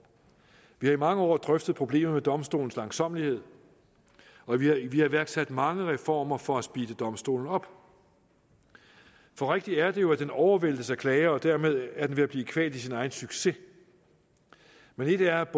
vi har i mange år drøftet problemet med domstolens langsommelighed og vi har iværksat mange reformer for at speede domstolen op rigtigt er det jo at den overvæltes af klager og dermed er den ved at blive kvalt i sin egen succes men et er at